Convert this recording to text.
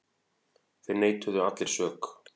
Þeir neituðu allir sök.